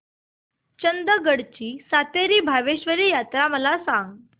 चंदगड ची सातेरी भावेश्वरी यात्रा मला सांग